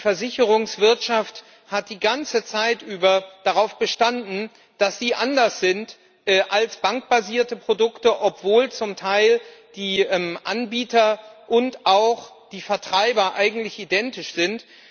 Die Versicherungswirtschaft hat die ganze Zeit über darauf bestanden, dass ihre Produkte anders sind als bankbasierte Produkte, obwohl zum Teil die Anbieter und auch die Vertreiber eigentlich identisch sind.